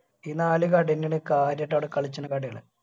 ഈ നാല് കട എന്നെയാണ് കാഞ്ഞിട്ട് ആടെ കളിച്ചിനിക്കന്നത്